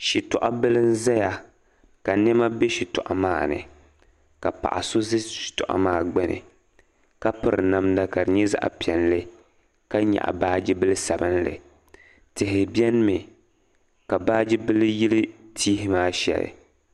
shitɔ' bila n-zaya ka nɛma be shitɔɣu maani ka paɣa so za shitɔɣu maa gbuni ka piri namda ka di zaɣ' piɛlli ka nyaɣi baaji bila sabilinli tihi benimi ka baaji bila yili tihi maa shɛli